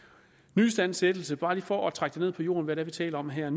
nyistandsættelse bare lige for at trække det ned på jorden hvad vi taler om her